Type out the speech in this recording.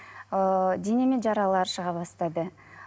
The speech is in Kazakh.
ыыы денеме жаралар шыға бастады